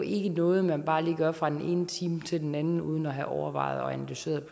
ikke noget man bare lige gør fra den ene time til den anden uden at have overvejet og analyseret